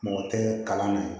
Mɔgɔ tɛ kalan na